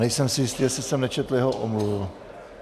Nejsem si jistý, jestli jsem nečetl jeho omluvu.